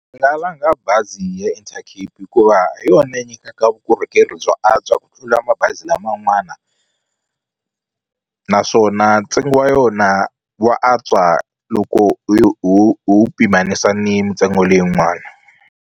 Ndzi nga langa bazi ya Intercape hikuva hi yona yi nyikaka vukorhokeri byo antswa ku tlula mabazi laman'wana naswona ntsengo wa yona wa antswa loko pimanisiwa ni mintsengo leyin'wana.